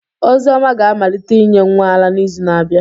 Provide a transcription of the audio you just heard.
Ozioma ga-amalite inye nwa ara n'izu na-abịa.